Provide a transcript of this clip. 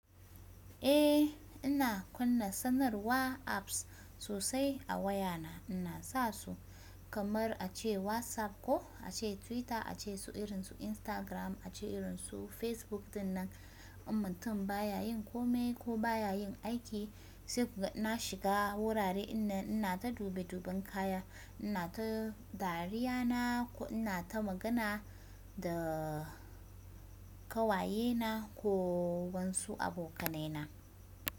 Ehh ina kunna sanarwa apps sosai a wayana ina sasu kamar ace Whatsapp koh ace Twitter ace su irin su Instagram ace irin su Facebook. Sannan in mutum baya yin komai ko baya yin aiki sai kuka na shiga wurare ina ina ta dube duben kaya, ina ta dariya na ko ina ta magana da ƙawayena ko wasu abokanaina.